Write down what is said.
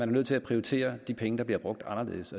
nødt til at prioritere de penge der bliver brugt anderledes